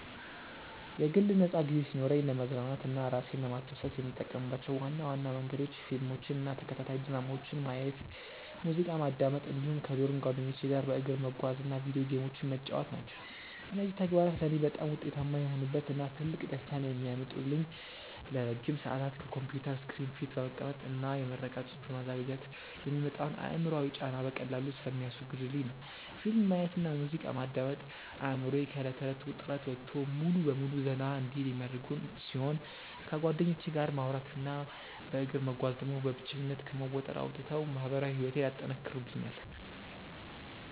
የግል ነፃ ጊዜ ሲኖረኝ ለመዝናናት እና እራሴን ለማስደሰት የምጠቀምባቸው ዋና ዋና መንገዶች ፊልሞችን እና ተከታታይ ድራማዎችን ማየት፣ ሙዚቃ ማዳመጥ እንዲሁም ከዶርም ጓደኞቼ ጋር በእግር መጓዝ እና የቪዲዮ ጌሞችን መጫወት ናቸው። እነዚህ ተግባራት ለእኔ በጣም ውጤታማ የሆኑበት እና ትልቅ ደስታን የሚያመጡልኝ ለረጅም ሰዓታት ከኮምፒውተር ስክሪን ፊት በመቀመጥ እና የምረቃ ፅሁፍ በማዘጋጀት የሚመጣውን አእምሯዊ ጫና በቀላሉ ስለሚያስወግዱልኝ ነው። ፊልም ማየት እና ሙዚቃ ማዳመጥ አእምሮዬ ከእለት ተእለት ውጥረት ወጥቶ ሙሉ በሙሉ ዘና እንዲል የሚያደርጉ ሲሆን፣ ከጓደኞቼ ጋር ማውራት እና በእግር መጓዝ ደግሞ በብቸኝነት ከመወጠር አውጥተው ማህበራዊ ህይወቴን ያጠናክሩልኛል።